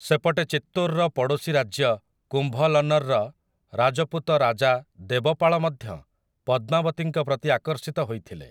ସେପଟେ ଚିତ୍ତୋରର ପଡ଼ୋଶୀ ରାଜ୍ୟ କୁମ୍ଭଲନର୍‌ର ରାଜପୁତ ରାଜା ଦେବପାଳ ମଧ୍ୟ ପଦ୍ମାବତୀଙ୍କ ପ୍ରତି ଆକର୍ଷିତ ହୋଇଥିଲେ ।